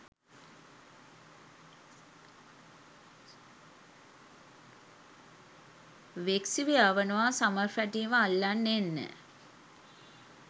වෙක්සි ව යවනවා ස්මර්ෆැටිව අල්ලන් එන්න.